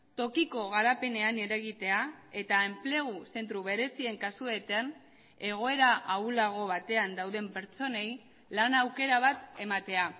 tokiko garapenean eragitea eta enplegu zentro berezien kasuetan egoera ahulago batean dauden pertsonei lan aukera bat ematea